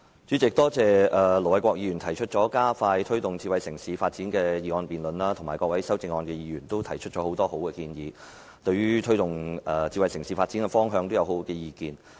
主席，多謝盧偉國議員提出"加快推動智慧城市發展"的議案辯論，以及各位提出修正案的議員也提出了很多好建議，他們對於推動智慧城市發展的方向也有很好的意見。